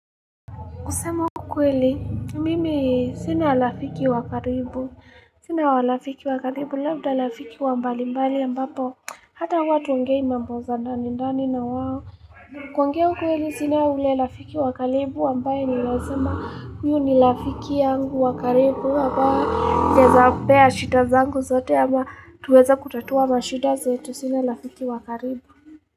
Kusema ukweli, mimi sina rafiki wa karibu. Sina wa rafiki wa karibu, labda rafiki wa mbalimbali ambapo. Hata huwa hatuongei mambo za ndani ndani na wao. Pia ukweli sina ule rafiki wa karibu ambaye ninaeza sema huyu ni rafiki yangu wa karibu. Ambaye ninaeza mpea shida zangu zote ama tuweze kutatua mashida zetu. Sina lafiki wakaribu.